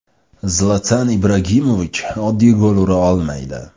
Zlatan Ibragimovich oddiy gol ura olmaydi.